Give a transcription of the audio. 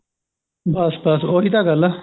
ਬੱਸ ਬੱਸ ਉਹੀ ਤਾਂ ਗਲ ਏ